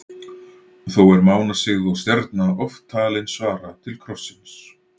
Þó er mánasigð og stjarna oft talin svara til krossins.